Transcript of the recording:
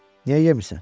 Niyə yemirsən?